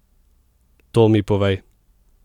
To mi povej!